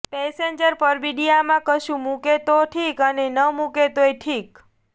passenger પરબિડિયામાં કશું મૂકે તો ઠીક અને ન મૂકે તોય ઠીક